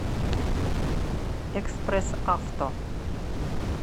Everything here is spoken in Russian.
экспресс авто